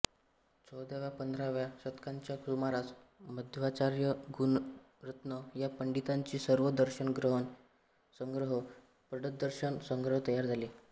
चौदाव्यापंधराव्या शतकांच्या सुमारास मध्वाचार्य गुणरत्न या पंडितांचे सर्व दर्शन संग्रह षड्दर्शन संग्रह तयार झाले